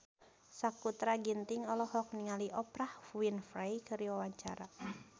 Sakutra Ginting olohok ningali Oprah Winfrey keur diwawancara